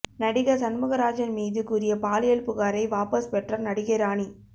நடிகர் சண்முகராஜன் மீது கூறிய பாலியல் புகாரை வாபஸ் பெற்றார் நடிகை ராணி